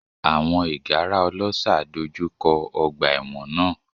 Àwọn ìgárá ọlọ́ṣà dojú kọ ọgbà ẹ̀wọ̀n náà.